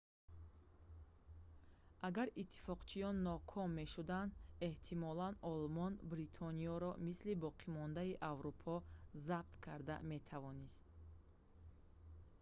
агар иттифоқчиён ноком мешуданд эҳтимолан олмон бритониёро мисли боқимондаи аврупо забт карда метавонист